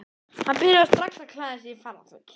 Hann byrjaði strax að klæða sig í ferðaföt og sagði